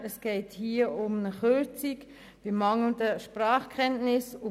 Hier geht es um eine Kürzung der Sozialhilfe aufgrund mangelnder Sprachkenntnisse.